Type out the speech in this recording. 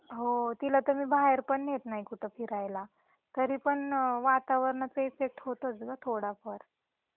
हो, तिला तर मी बाहेर पण नेत नाही कुठ फिरायला तरी पण वातावरणाचा इफेक्ट होतोच गं थोडा फार.